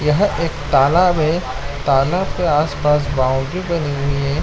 यह एक तालाब है तालाब के आस-पास एक बाउंड्री बनी हुई है।